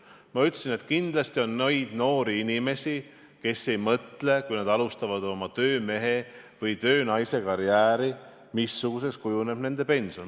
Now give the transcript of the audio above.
Ma ütlesin, et kindlasti on neid noori inimesi, kes ei mõtle, kui nad alustavad oma töömehe- või töönaisekarjääri, missuguseks kujuneb nende pension.